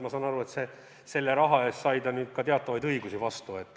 Ma saan aru, et selle raha eest sai ta nüüd teatavaid õigusi vastu.